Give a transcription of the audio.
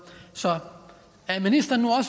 så er ministeren